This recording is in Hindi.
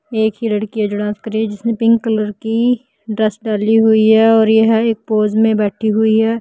एक ही लड़की है जो डांस कर रही है जिसने पिंक कलर की ड्रेस डली हुई है और यह एक पोज में बैठी हुई हैं।